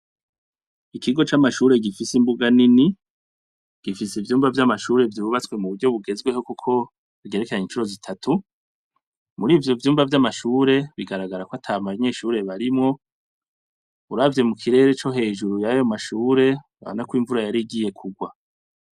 Ikigo c'amashure gifise imbuga nini, gifise ivyumba vy'amashure vyubatswe muburyo bugezweho Kuko rigerekeranye incuro zitatu, mur'ivyo vyumba vy'amashure bigaragara ko atabanyeshure barimwo ,uravye mukirere co hejuru yayo mashure urabona ko imvura yarigiye kurwa.